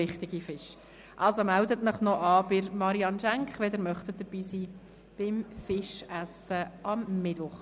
Also melden Sie sich noch bei Marianne Schenk an, wenn Sie am Fischessen am Mittwoch teilnehmen möchten.